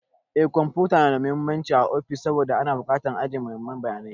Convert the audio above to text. Eh kwamfuta na da mahimmanci ã ofis saboda ana bukatan ã yi ajiyan muhimman bayanai.